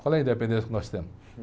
Qual é a independência que nós temos?